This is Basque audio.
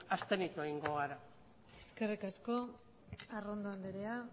abstenitu egingo gara eskerrik asko arrondo andrea